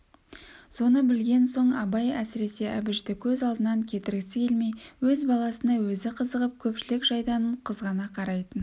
соны білген соң абай әсіресе әбішті көз алдынан кетіргісі келмей өз баласына өзі қызығып көпшілік жайдан қызғана қарайтын